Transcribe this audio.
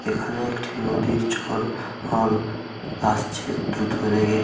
এখানে একটি নদীর জল জল আসছে দ্রুত বেগে।